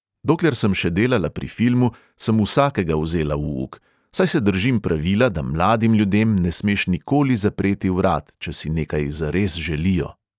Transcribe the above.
Dokler sem še delala pri filmu, sem vsakega vzela v uk, saj se držim pravila, da mladim ljudem ne smeš nikoli zapreti vrat, če si nekaj zares želijo.